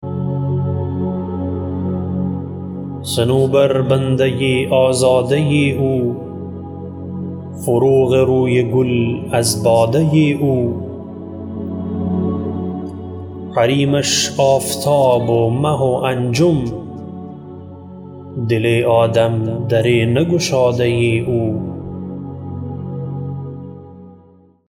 صنوبر بنده آزاده او فروغ روی گل از باده او حریمش آفتاب و ماه و انجم دل آدم در نگشاده او